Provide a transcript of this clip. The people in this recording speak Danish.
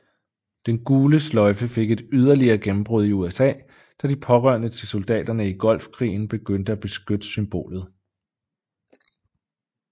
Den gule sløjfe fik et yderligere gennembrud i USA da de pårørende til soldaterne i Golfkrigen begyndte at benytte symbolet